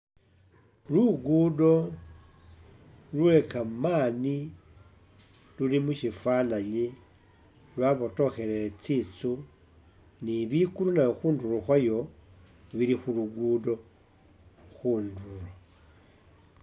Lugudo lwekamani luli mushifananyi lwabotokhelele tsinzu ni ligulu nalyo khundulo khwayo bili khulugudo khundulo